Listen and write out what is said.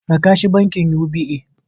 Raka shi bankin UBA